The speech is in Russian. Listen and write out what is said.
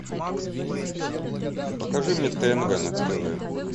покажи мне тнв на тв